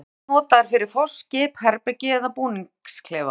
Þær voru ýmist notaðar fyrir foss, skip, herbergi eða búningsklefa.